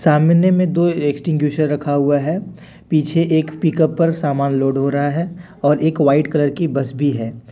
सामने में दो एक्सटिंगुइशर रखा हुआ है पीछे एक पिकअप पर समान लोड हो रहा है और एक व्हाइट कलर की बस भी है।